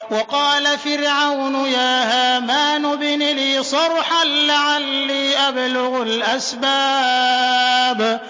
وَقَالَ فِرْعَوْنُ يَا هَامَانُ ابْنِ لِي صَرْحًا لَّعَلِّي أَبْلُغُ الْأَسْبَابَ